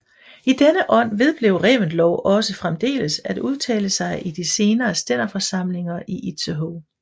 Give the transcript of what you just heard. I denne ånd vedblev Reventlow også fremdeles at udtale sig i de senere stænderforsamlinger i Itzehoe